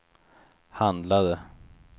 handlade